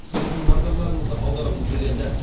сіздердің назарларыңызды аударғым келеді